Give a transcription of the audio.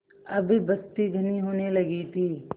अब बस्ती घनी होने लगी थी